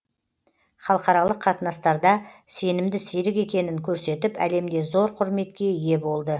халықаралық қатынастарда сенімді серік екенін көрсетіп әлемде зор құрметке ие болды